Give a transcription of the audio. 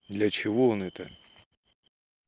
для чего он это